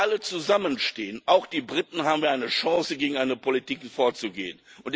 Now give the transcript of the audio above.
Nur wenn wir alle zusammenstehen auch die Briten haben wir eine Chance, gegen eine solche Politik vorzugehen.